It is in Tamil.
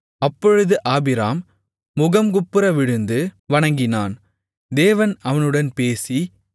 அப்பொழுது ஆபிராம் முகங்குப்புற விழுந்து வணங்கினான் தேவன் அவனுடன் பேசி